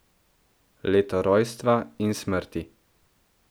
Leto rojstva in smrti.